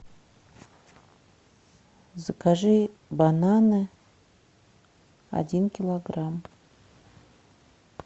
закажи бананы один килограмм